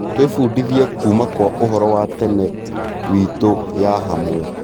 Twĩbundithie kuuma kwa úhoro wa tene wiitũ ya hamwe.